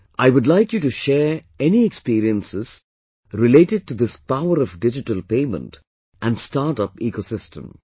I would like you to share any experiences related to this power of digital payment and startup ecosystem